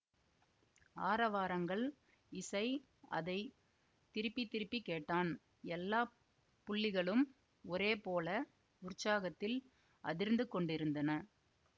ஆரவாரங்கள் இசை அதை திருப்பி திருப்பி கேட்டான் எல்லா புள்ளிகளும் ஒரேபோல உற்சாகத்தில் அதிர்ந்துகொண்டிருந்தன